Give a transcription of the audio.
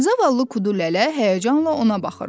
Zavallı Kudulələ həyəcanla ona baxırdı.